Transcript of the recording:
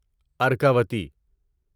Arkavathi